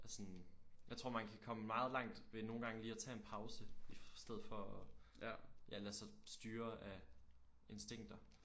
Og sådan jeg tror man kan komme meget langt ved nogen gange lige at tage en pause i stedet for at ja lade sig styre af instinkter